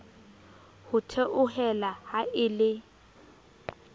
ho theohela ha e le